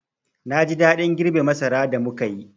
Na ji daɗin girbe masara da muka yi.